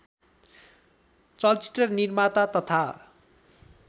चलचित्र निर्माता तथा